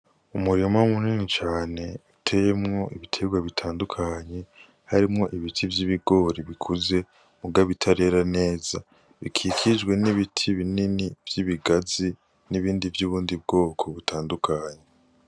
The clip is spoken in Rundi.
Umurima munini cane uteyemwo ibiterwa bitandukanye harimwo ibiti vy'ibigori bikuze muga bitarera neza, bikikijwe n'ibiti binini vy'ibigazi n'ibindi vy'ubundi bwoko butandukanye.